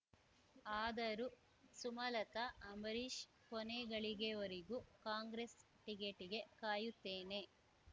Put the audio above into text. ಆದರೂ ಸುಮಲತಾ ಅಂಬರೀಷ್ ಕೊನೆಗಳಿಗೆವರೆಗೂ ಕಾಂಗ್ರೆಸ್ ಟಿಕೆಟ್‌ಗೆ ಕಾಯುತ್ತೇನೆ